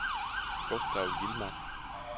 Gustav Yilmaz